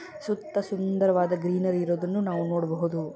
ಸುತ್ತ ಸುಂದರವಾದ ಗ್ರೀನರಿ ಇರೋದನ್ನ ನಾವು ನೋಡಬಹುದು.